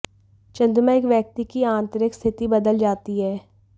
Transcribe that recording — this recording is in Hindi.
चंद्रमा एक व्यक्ति की आंतरिक स्थिति बदल जाती है